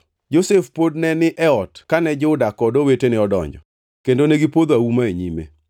Josef pod ne ni e ot kane Juda kod owetene odonjo, kendo negipodho auma e nyime.